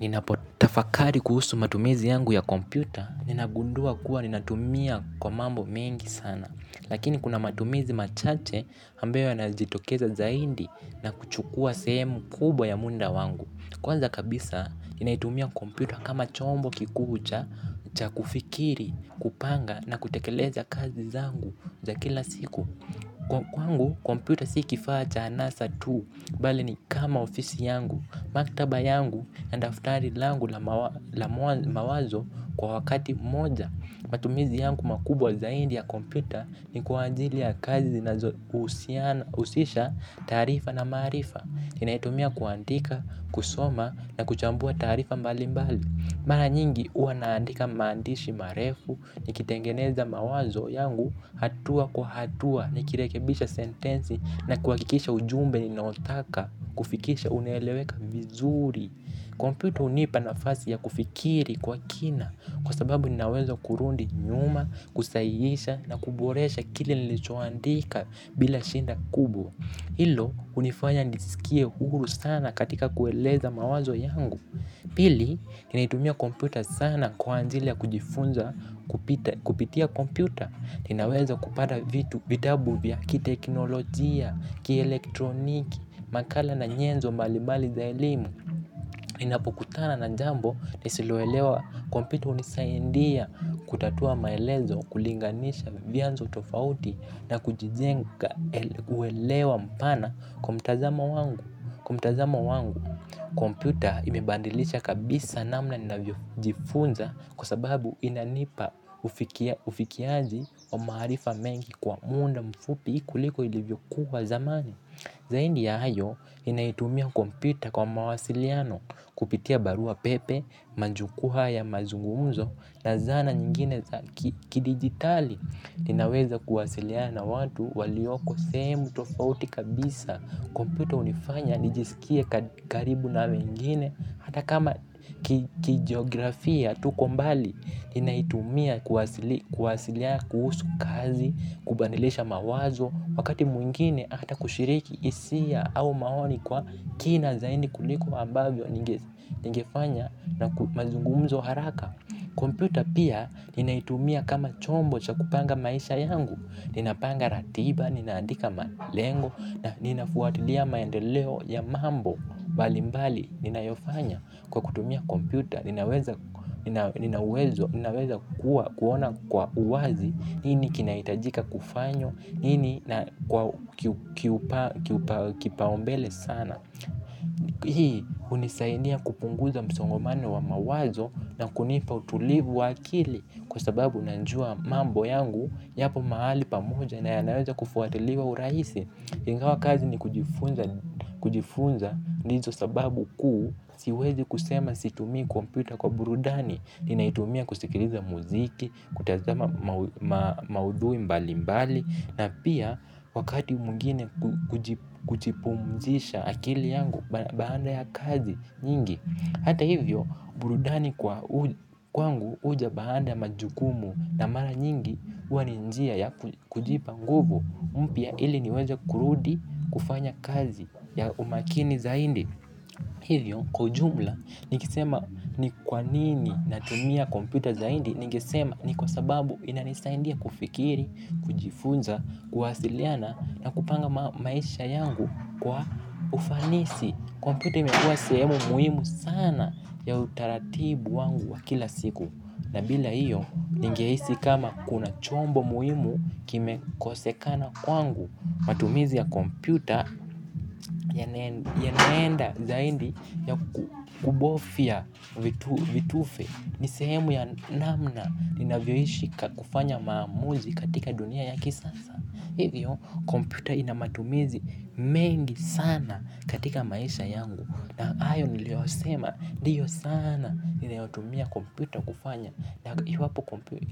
Ninapotafakari kuhusu matumizi yangu ya kompyuta, ninagundua kuwa ninatumia kwa mambo mengi sana. Lakini kuna matumizi machache ambayo yanajitokeza zaidi na kuchukua sehemu kubwa ya muda wangu. Kwanza kabisa, ninaitumia kompyuta kama chombo kikuu cha kufikiri, kupanga na kutekeleza kazi zangu za kila siku. Kwangu, kompyuta si kifaa cha anasa tuu, bali ni kama ofisi yangu, maktaba yangu na daftari langu la mawazo kwa wakati mmoja. Matumizi yangu makubwa zaidi ya kompyuta ni kwa ajili ya kazi zinazohusisha taarifa na maarifa. Ninaitumia kuandika, kusoma na kuchambua taarifa mbali mbali. Mara nyingi hua naandika maandishi marefu nikitengeneza mawazo yangu hatua kwa hatua. Nikirekebisha sentensi na kuakikisha ujumbe ninaotaka kufikisha uneleweka vizuri. Kompyuto hunipa nafasi ya kufikiri kwa kina kwa sababu nina uwezo kurudi nyuma, kusahihisha na kuboresha kili nilichoandika bila shida kubwa. Hilo hunifanya nisikie huru sana katika kueleza mawazo yangu. Pili, ninaitumia kompyuta sana kwa ajili ya kujifunza kupitia komputa. Ninaweza kupata v vitabu vya kiteknolojia, kielektroniki, makala na nyenzo mbalibali za elimu ninapokutana na jambo nisiloelewa kompyuta hunisaidia kutatua maelezo kulinganisha vianzo tofauti na kujijenga uelewa mpana kwa mtazamo wangu. Kwa mtazamo wangu, kompyuta imebadilisha kabisa namna ninavyojifunza kwa sababu, inanipa ufikiaji wa maarifa mengi kwa muda mfupi kuliko ilivyokuwa zamani. Zaidi ya hayo, ninaitumia kompyuta kwa mawasiliano, kupitia baruapepe, majukuu haya mazungumzo, na zana nyingine za kidigitali. Ninaweza kuwasiliana na watu walioko sehemu tofauti kabisa, kompyuta hunifanya nijiskie karibu na wengine. Hata kama kijiografia tuko mbali, ninaitumia kuwasiliana kuhusu kazi, kubadilisha mawazo, wakati mwingine hata kushiriki hisia au maoni kwa kina zaidi kuliko ambavyo ningefanya na mazungumzo haraka. Kompyuta pia ninaitumia kama chombo cha kupanga maisha yangu, ninapanga ratiba, ninaandika malengo, na ninafuatilia maendeleo ya mambo, mbalimbali ninayofanya kwa kutumia komputa, ninaweza kuwa kuona kwa uwazi, nini kinahitajika kufanywa, nini kipaumbele sana. Hii hunisaidia kupunguza msongomano wa mawazo na kunipa utulivu wa akili kwa sababu najua mambo yangu yapo mahali pamoja na yanaweza kufuatiliwa urahisi. Ingawa kazi ni kujifunza ndizo sababu kuu siwezi kusema situmii kompyuta kwa burudani. Ninaitumia kusikiliza muziki, kutazama maudhui mbali mbali na pia wakati mwngine kujipumjisha akili yangu baada ya kazi nyingi. Hata hivyo, burudani kwangu huja baanda majukumu na mara nyingi huwa ni njia ya kujipa nguvu mpya ili niweze kurudi kufanya kazi ya umakini zaidi. Hivyo kwa jumla nikisema ni kwanini natumia kompyuta zaidi. Ningesema ni kwa sababu inanisaidia kufikiri, kujifunza, kuwasiliana na kupanga maisha yangu kwa ufanisi. Kompyuta imekuwa sehemu muhimu sana ya utaratibu wangu wa kila siku. Na bila hiyo, ningehisi kama kuna chombo muhimu kimekosekana kwangu, matumizi ya kompyuta yanaenda zaindi ya kubofya vitufe ni sehemu ya namna ninavyoishi kufanya maamuzi katika dunia ya kisasa. Hivyo kompumyuta ina matumizi mengi sana katika maisha yangu. Na hayo niliyoyasema ndiyo sana niliotumia kompyuta kufanya na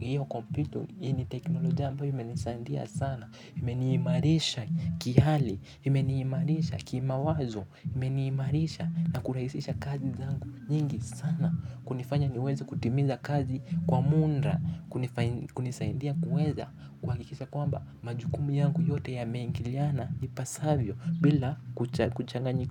hiyo kompyuta yenye teknolojia ambayo imenisaidia sana imeniimarisha kihali, imeniimarisha kimawazo, imeniimarisha na kurahisisha kazi zangu nyingi sana kunifanya niweze kutimiza kazi kwa muda, kunisaidia kuweza kuhakikisha kwamba majukumu yangu yote yameingiliana ipasavyo bila kuchanganyika.